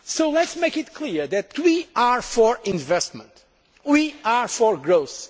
regions. So let us make it clear that we are for investment and for